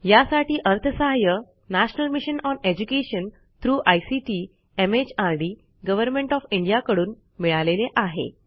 यासाठी अर्थसहाय्य national mission on education through ICT MHRD government of India कडून मिळालेले आहे